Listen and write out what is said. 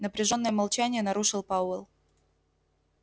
напряжённое молчание нарушил пауэлл